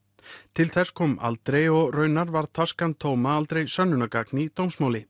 til þess kom aldrei og raunar varð tóma aldrei sönnunargagn í dómsmáli